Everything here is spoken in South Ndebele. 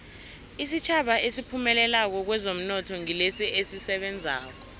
isitjhaba esiphumelelako kwezomnotho ngilesi esisebenzako